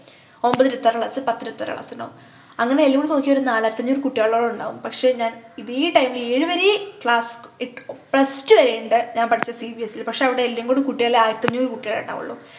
ഒമ്പത് ഇരുപത്തിയാറു class പത്തു ഇരുപത്തിയാറു class ണ്ടാവും അങ്ങനെ എല്ലും കൂടി നോക്കിയ ഒരു നാലായിരത്തിഅഞ്ഞൂറ് കുട്ടികളോളം ഉണ്ടാവും പക്ഷെ ഞാൻ ഇതേ time ലു ഏഴു വരേ class plus two വരെ ഉണ്ട് ഞാൻ പഠിച്ച cbse ലു പക്ഷെ എല്ലാം കൂടി കൂട്ടിയാല് ആയിരത്തിഅഞ്ഞൂറ് കുട്ടികളെ ഉണ്ടാവുള്ളു